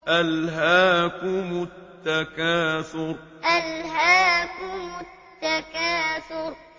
أَلْهَاكُمُ التَّكَاثُرُ أَلْهَاكُمُ التَّكَاثُرُ